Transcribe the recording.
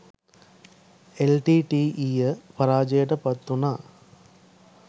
එල්.ටී.ටී.ඊ.ය පරාජයට පත්වුණා